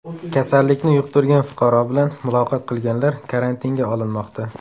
Kasallikni yuqtirgan fuqaro bilan muloqot qilganlar karantinga olinmoqda.